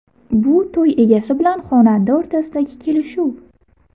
Bu to‘y egasi bilan xonanda o‘rtasidagi kelishuv.